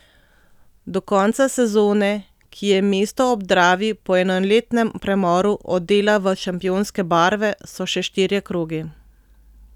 Do konca sezone, ki je mesto ob Dravi po enoletnem premoru odela v šampionske barve, so še štirje krogi.